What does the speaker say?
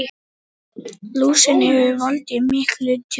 Lúsin hefur valdið miklu tjóni.